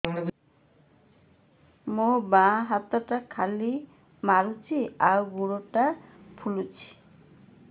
ମୋ ବାଆଁ ହାତଟା ଖିଲା ମାରୁଚି ଆଉ ଗୁଡ଼ ଟା ଫୁଲୁଚି